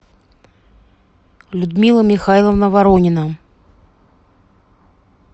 людмила михайловна воронина